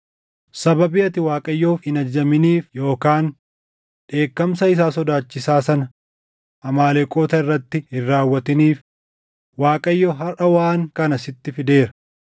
Sababii ati Waaqayyoof hin ajajaminiif yookaan dheekkamsa isaa sodaachisaa sana Amaaleqoota irratti hin raawwatiniif Waaqayyo harʼa waan kana sitti fideera.